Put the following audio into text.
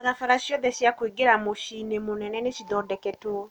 Barabara ciothe cia kũingĩra mũciĩ-inĩ mũnene nĩ cithondeketwo.